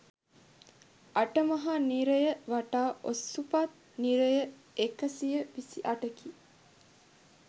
අට මහා නිරය වටා ඔසුපත් නිරය එකසිය විසි අටකි